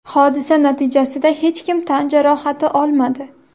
Hodisa natijasida hech kim tan jarohati olmadi.